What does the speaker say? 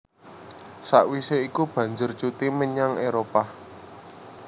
Sakwisé iku banjur cuti menyang Éropah